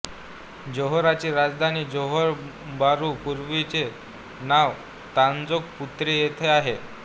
जोहाराची राजधानी Johor Bahru पूर्वीचे नाव तांजोंग पुत्री येथे आहे